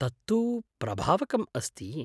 तत्तु प्रभावकम् अस्ति।